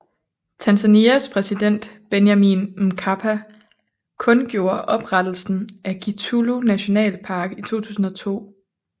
Tanzanias præsident Benjamin Mkapa kundgjorde oprettelsen af Kitulo nationalpark i 2002